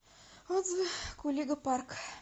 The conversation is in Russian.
отзывы кулига парк